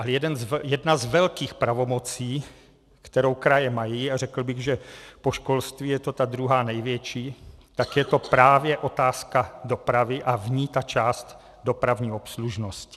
Ale jedna z velkých pravomocí, kterou kraje mají, a řekl bych, že po školství je to ta druhá největší, tak je to právě otázka dopravy a v ní ta část dopravní obslužnosti.